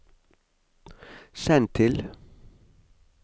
send til